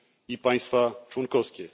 i państwa członkowskie.